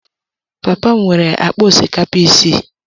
Papa m nwere akpa osikapa isii.